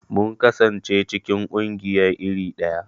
Mun kasance cikin ƙungiya iri daya.